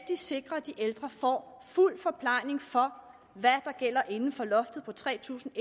sikre at de ældre får fuld forplejning for hvad der gælder inden for loftet på tre tusind